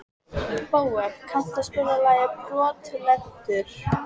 Bóel, kanntu að spila lagið „Brotlentur“?